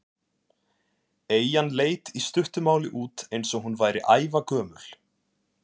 Eyjan leit í stuttu máli út eins og hún væri ævagömul.